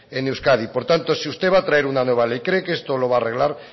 en euskadi por tanto si usted va a traer una nueva ley cree que esto lo va a arreglar